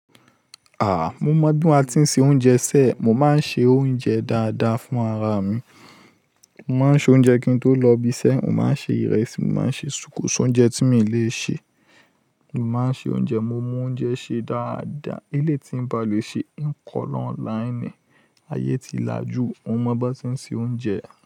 Aah! Mo mọ̀ bí mo ti ń se oúnjẹ sé, mo máa ń ṣe oúnjẹ dáadáa fún ara mi. Mo máa ń ṣe oúnjẹ kí n tó lọ ibiṣẹ́, mo máa ń ṣe ìrẹsì, mo máa ń ṣe sùkúsù, oúnjẹ tí mi lè ṣe. Mo máa ń ṣe oúnjẹ, mo mọ oúnjẹ ṣe dáadáa. Eléyìí tí ń ba lè ṣe, hín kọ́ lí ọ̀ńláinì. Ayé ti lajú, mo mọ bí ó ti ń se oúnjẹ.